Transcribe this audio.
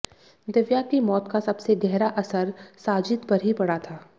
दिव्या की मौत का सबसे गहरा असर साजिद पर ही पड़ा था